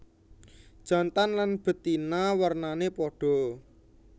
Jantan lan betina wernané padha